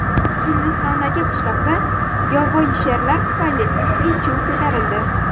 Hindistondagi qishloqda yovvoyi sherlar tufayli qiy-chuv ko‘tarildi.